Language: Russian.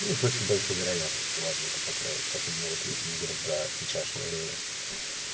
ну с очень большой вероятностью ладно это покроет особенно вот если мы говорим про сейчашнее время